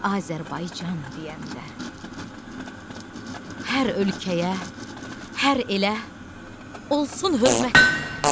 Azərbaycan deyəndə, hər ölkəyə, hər elə, olsun hörmət deyirəm.